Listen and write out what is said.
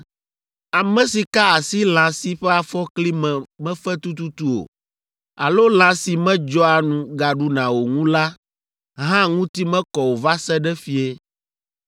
“ ‘Ame si ka asi lã si ƒe afɔkli me mefe tututu o, alo lã si medzɔa nu gaɖuna o ŋu la hã ŋuti mekɔ o va se ɖe fiẽ.